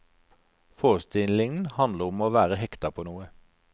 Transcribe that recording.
Forestillingen handler om å være hekta på noe.